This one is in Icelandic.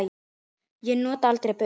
Ég nota aldrei buff.